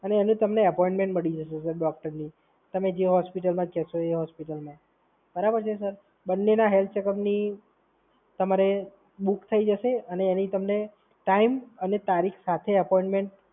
આજે તમને એપોઇન્ટમેન્ટ મળી જશે સર ડોક્ટરની. તમે જે હોસ્પિટલમાં જશો એ હોસ્પિટલમાં, બરાબર છે સર? બંનેના હેલ્થ ચેકઅપની તમારે બુક થઈ જશે. અને એની તમને ટાઈમ અને તારીખ સાથે એપોઇન્ટમેન્ટ.